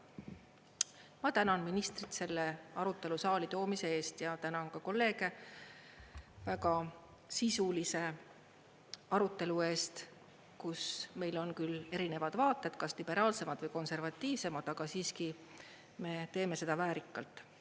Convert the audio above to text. Ma tänan ministrit selle arutelu saali toomise eest ja tänan kolleege väga sisulise arutelu eest, kus meil on küll erinevad vaated, kas liberaalsemad või konservatiivsemad, aga siiski me teeme seda väärikalt.